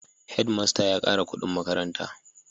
Head master ya kara kudin makaranta